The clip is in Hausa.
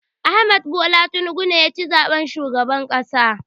Ahmad Bola Tinubu ne ya ci zaɓen shugaban ƙasa.